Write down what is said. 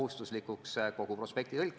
Urmas Kruuse, palun!